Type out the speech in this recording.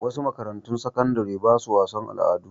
Wasu makarantun sakandare ba su wasan al'adu.